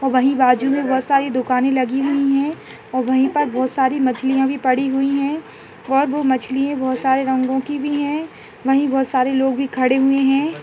वही बाजू मे बहोत सारी दुकाने लगी हुई है और वही पर बहोत सारी मछलियाँ पड़ी हुई है ओ मछली बहोत सारे रंगों की भी है वही बहोत सारे लोग भी खड़े हुए है।